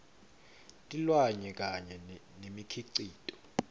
tilwane kanye nemikhicito